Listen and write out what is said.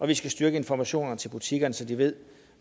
vi skal styrke informationen til butikkerne så de ved